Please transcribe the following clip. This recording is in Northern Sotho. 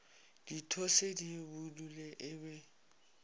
dithose di budule e be